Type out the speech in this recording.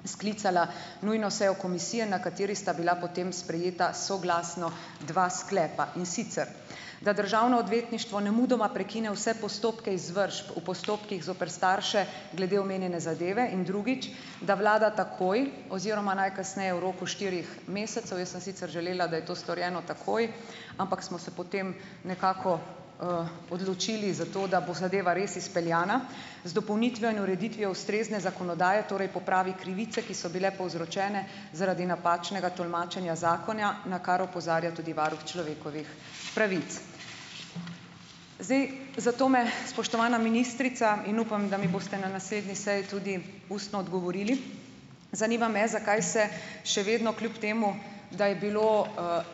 devetnajst sklicala nujno sejo komisije, na kateri sta bila potem sprejeta soglasno dva sklepa. In sicer da državno odvetništvo nemudoma prekine vse postopke izvržb v postopkih zoper starše glede omenjene zadeve, in drugič, da vlada takoj oziroma najkasneje v roku štirih mesecev - jaz sem sicer želela, da je to storjeno takoj, ampak smo se potem nekako, odločili za to, da bo zadeva res izpeljana z dopolnitvijo in ureditvijo ustrezne zakonodaje, torej popravi krivice, ki so bile povzročene zaradi napačnega tolmačenja zakona, na kar opozarja tudi varuh človekovih pravic. Zdaj, zato me, spoštovana ministrica, in upam, da mi boste na naslednji seji tudi ustno odgovorili. Zanima me, zakaj se še vedno kljub temu da je bilo,